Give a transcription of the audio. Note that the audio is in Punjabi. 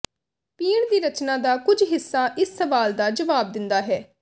ਪੀਣ ਦੀ ਰਚਨਾ ਦਾ ਕੁਝ ਹਿੱਸਾ ਇਸ ਸਵਾਲ ਦਾ ਜਵਾਬ ਦਿੰਦਾ ਹੈ